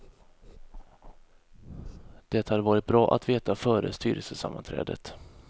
Det hade varit bra att veta före styrelsesammanträdet.